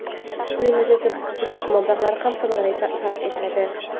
Buning natijasida budjet mablag‘lari ham samarali sarf etiladi”.